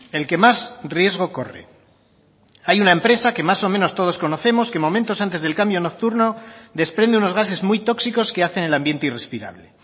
el que más riesgo corre hay una empresa que más o menos todos conocemos que momentos antes del cambio nocturno desprende unos gases muy tóxicos que hacen el ambiente irrespirable